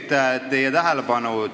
Palun nüüd teie tähelepanu!